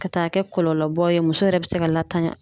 Ka taa kɛ kɔlɔlɔbaw ye, muso yɛrɛ bi se ka latanya.